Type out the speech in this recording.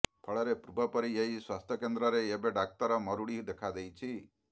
ଫଳରେ ପୂର୍ବପରି ଏହି ସ୍ୱାସ୍ଥ୍ୟକେନ୍ଦ୍ରରେ ଏବେ ଡାକ୍ତର ମରୁଡ଼ି ଦେଖାଦେଇଛି